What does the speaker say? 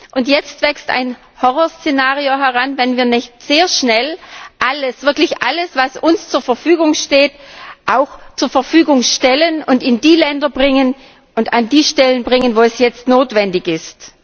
Und jetzt entwickelt sich ein Horrorszenario, wenn wir nicht sehr schnell wirklich alles, was uns zur Verfügung steht, auch zur Verfügung stellen und in die Länder und an die Stellen bringen, wo es jetzt notwendig ist.